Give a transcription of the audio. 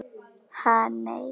Ha, nei.